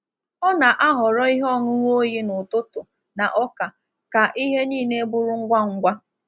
Ọ na-ahọrọ ihe ọṅụṅụ oyi n’ụtụtụ na ọka ka ihe niile bụrụ ngwa ngwa.